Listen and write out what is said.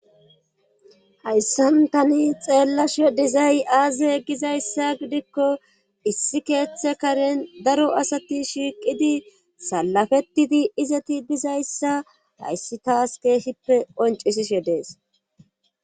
Hayssantani xeellashe dizay aaze gizayssa gidikko issi keeththe karen daro asati shiiqidi salafettidi izeti dizayssa hayssi taas keeshippe qoncisishe dees